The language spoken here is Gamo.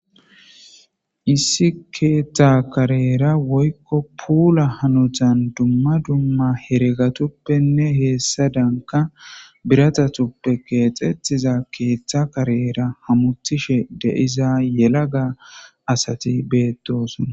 Issi keeththa karera woyikko pula hanotani dumma dumma heeregatuppenne hesadanikka biratutuppe keeththetida keeththa karera hamutishshe diza yelaga asati betosona